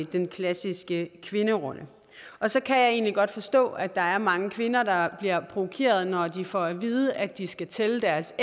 den klassiske kvinderolle og så kan jeg egentlig godt forstå at der er mange kvinder der bliver provokeret når de får at vide at de skal tælle deres